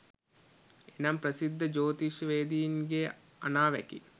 එනම් ප්‍රසිද්ධ ජෝතිෂ්‍යවේදීන්ගේ අනාවැකි